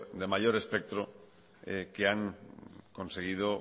de mayor espectro que han conseguido